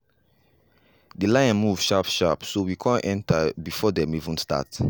the line move sharp sharp so we come enter before dem even start.